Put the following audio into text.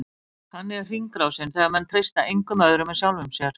Þannig er hringrásin, þegar menn treysta engum öðrum en sjálfum sér.